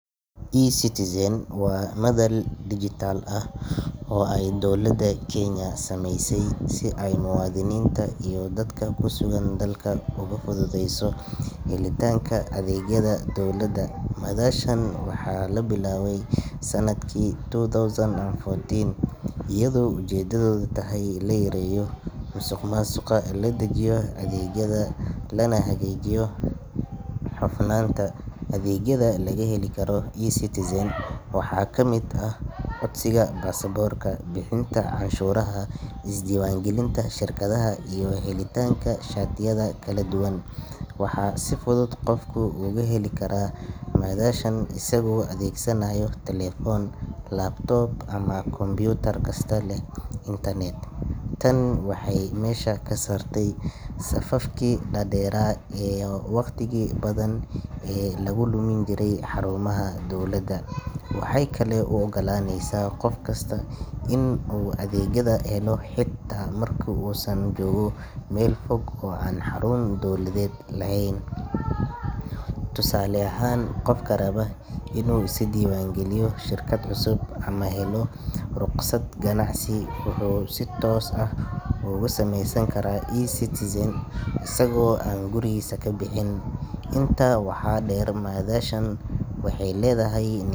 eCitizen waa madal dhijitaal ah oo ay dowladda Kenya samaysay si ay muwaadiniinta iyo dadka ku sugan dalka ugu fududeyso helitaanka adeegyada dowladda. Madashan waxaa la bilaabay sanadkii two thousand and fourteen iyadoo ujeedadu tahay in la yareeyo musuqmaasuqa, la dedejiyo adeegyada, lana hagaajiyo hufnaanta. Adeegyada laga heli karo eCitizen waxaa ka mid ah codsiga baasaboorka, bixinta cashuuraha, isdiiwaangelinta shirkadaha, iyo helitaanka shatiyada kala duwan. Waxaa si fudud qofku ugu gali karaa madashan isagoo adeegsanaya telefoon, laptop ama kombiyuutar kasta leh internet. Tan waxay meesha ka saartay safafkii dhaadheeraa iyo wakhtigii badan ee lagu lumin jiray xarumaha dowladda. Waxay kaloo u oggolaaneysaa qof kasta inuu adeegyada helo xitaa marka uu joogo meel fog oo aan xarun dowladeed lahayn. Tusaale ahaan, qofka raba inuu iska diiwaangeliyo shirkad cusub ama helo rukhsad ganacsi wuxuu si toos ah uga samayn karaa eCitizen isagoo aan gurigiisa ka bixin. Intaa waxaa dheer, madashan waxay leedahay nidaa.